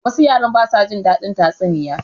Wasu yara ba su jin daɗin tatsuniya.